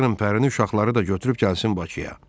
Çağırın Pərini, uşaqları da götürüb gəlsin Bakıya.